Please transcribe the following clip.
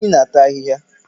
Efi na-ata ahịhịa